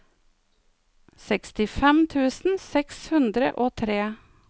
sekstifem tusen seks hundre og tre